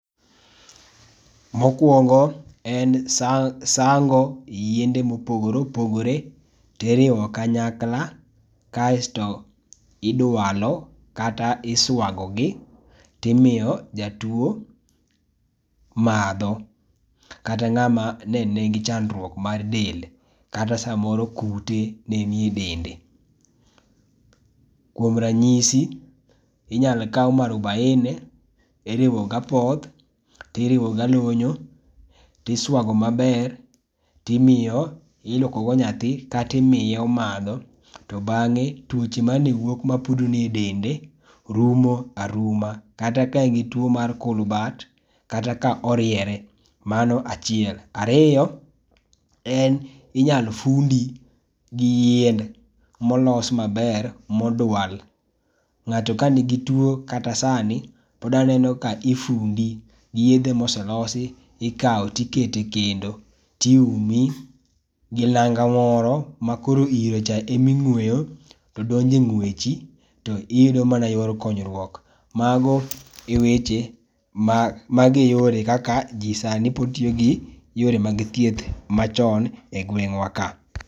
Mokuongo en sango yiende ma opogore opogore ti iriwo kanyakla kasto idwalo kata isiago gi timiyo jatwo madho kata ng'ama ne ni gi chandruok mar dende ka ta sa moro kute ne ni e dende. Kuom ranyisi inyalo kaw marubaini iriwo gi apoth, to iriwo gi alunyu, ti iswago ma be ti imiyo ti ilwoko go nyathi kata imiye omadho to bang'e twoche ma ne wuok ma pudno e dende rumo aruma kata ka gin two mar kulbat, kata ka oriwre ,mano achiel. Ariyo en inyalo fundi gi yiende ma olos ma ber ma odwal. Ng'ato ka ni gi two kata sani podwa neno kaka ifundi, yedhe ma oselosi ikawo ti iketo kendo ti iumi gi nanga moro ma koro iro cha ema ingweyo to donjo e ngwechi to iyudo mana yor konyruok. Mano e weche mano e yore ma kaka ji sani pod tiyo gi yore mag thieth ma chon e gweng'wa ka.